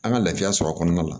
An ka laafiya sɔrɔ a kɔnɔna la